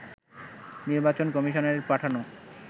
নির্বাচন কমিশনের পাঠানো